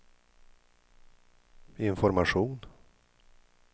information